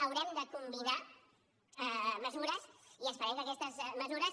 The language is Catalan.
haurem de combinar mesures i esperem que aquestes mesures